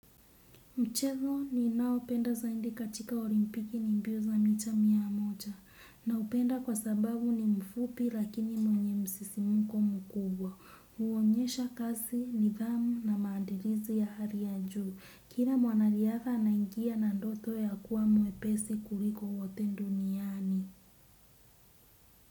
Mchezo ninaopenda zaidi katika olimpiki ni mbio za mita mia moja. Naupenda kwa sababu ni mfupi lakini mwenye msisimko mkubwa. Huonyesha kasi, nidhamu na maandilizi ya hali ya juu. Kila mwanariadha anaingia na ndoto ya kuwa mwepesi kuliko wote duniani.